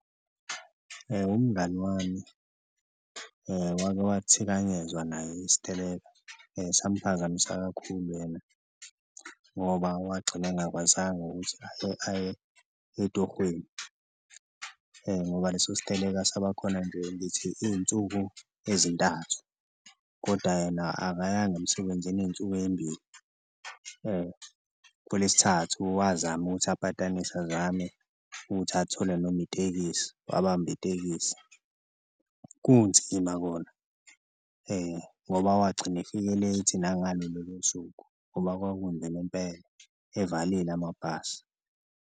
Umngani wami wake wathikanyezwa naye isiteleka samphazamisa kakhulu yena ngoba wagcina engakwazanga ukuthi aye etohweni ngoba leso siteleka saba khona nje ngithi iy'nsuku ezintathu koda yena akayanga emsebenzini iy'nsuku ey'mbili. Kulesithathu wazama ukuthi apatanise azame ukuthi athole noma itekisi, wabamba itekisi kunzima kona ngoba wagcina efike late nangalo lolo suku ngoba kwakunzima impela evalile amabhasi.